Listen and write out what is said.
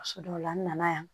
So dɔw la n nana yan